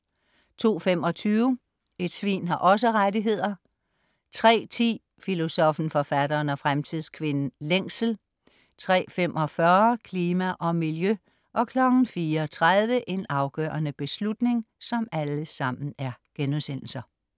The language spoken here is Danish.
02.25 Et svin har også rettigheder* 03.10 Filosoffen, Forfatteren og Fremtidskvinden - Længsel* 03.45 Klima og miljø* 04.30 En afgørende beslutning*